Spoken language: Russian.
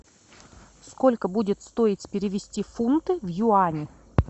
сколько будет стоить перевести фунты в юани